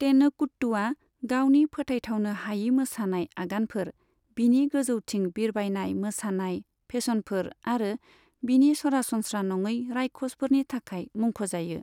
तेनकुट्टूआ गावनि फोथायथावनो हायै मोसानाय आगानफोर, बिनि गोजौथिं बिरबायनाय मोसानाय फेसनफोर आरो बिनि सरासनस्रा नङै रायखसफोरनि थाखाय मुंख'जायो।